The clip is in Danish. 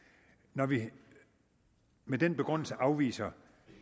når vi med den begrundelse afviser